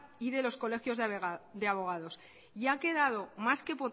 y de los colegios de abogados y ha quedado más que